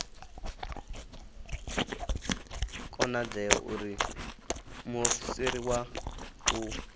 konadzei uri muofisiri wa u